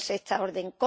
conoce esta orden.